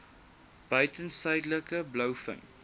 buiten suidelike blouvin